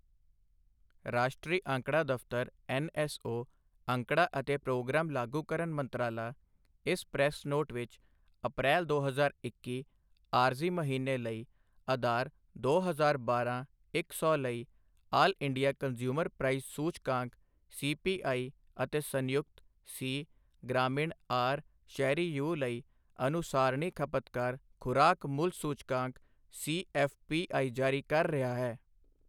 ਰਾਸ਼ਟਰੀ ਅੰਕੜਾ ਦਫ਼ਤਰ ਐੱਨਐੱਸਓ, ਅੰਕੜਾ ਅਤੇ ਪ੍ਰੋਗਰਾਮ ਲਾਗੂਕਰਨ ਮੰਤਰਾਲਾ, ਇਸ ਪ੍ਰੈੱਸ ਨੋਟ ਵਿੱਚ ਅਪ੍ਰੈਲ ਦੋ ਹਜ਼ਾਰ ਇੱਕੀ ਆਰਜ਼ੀ ਮਹੀਨੇ ਲਈ ਆਧਾਰ ਦੋ ਹਜ਼ਾਰ ਬਾਰਾਂ ਇੱਕ ਸੌ ਲਈ ਆਲ ਇੰਡੀਆ ਕੰਜ਼ਿਊਮਰ ਪ੍ਰਾਈਸ ਸੂਚਕਾਂਕ ਸੀਪੀਆਈ ਅਤੇ ਸੰਯੁਕਤ ਸੀ, ਗ੍ਰਾਮੀਣ ਆਰ, ਸ਼ਹਿਰੀ ਯੂ ਲਈ ਅਨੁਸਾਰਣੀ ਖ਼ਪਤਕਾਰ ਖੁਰਾਕ ਮੁੱਲ ਸੂਚਕਾਂਕ ਸੀਐੱਫ਼ਪੀਆਈ ਜਾਰੀ ਕਰ ਰਿਹਾ ਹੈ।